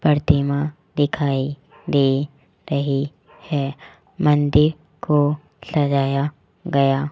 प्रतिमा दिखाई दे रही है मंदिर को सजाया गया --